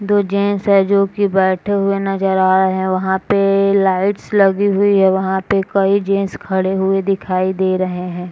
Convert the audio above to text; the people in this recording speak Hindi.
दो जेन्ट्स है जोकि बैठे हुए नजर आ रहे हैं वहाँ पे लाइट्स लगी हुई है वहां पे कई जेन्ट्स खड़े हुए दिखाई दे रहे हैं ।